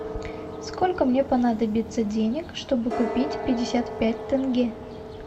сколько мне понадобится денег чтобы купить пятьдесят пять тенге